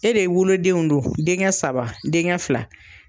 E de wolodenw don denkɛ saba denkɛ fila